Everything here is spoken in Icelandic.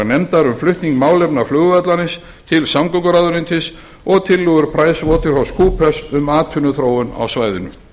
áðurgreindrar nefndar um flutning málefna flugvallarins til samgönguráðuneytis og tillögur pricewaterhousecoopers um atvinnuþróun á svæðinu